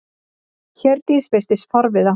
Hjördís virtist forviða.